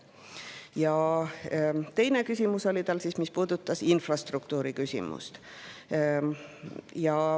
Tema teine küsimus puudutas infrastruktuuri.